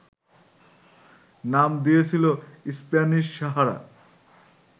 নাম দিয়েছিল স্প্যানিশ সাহারা